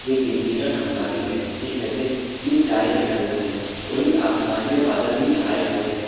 एक बिजली का खंभा भी है जिसमें से तीन तारे निकल रही है वही आसमान में बदल भी छाए हुए हैं।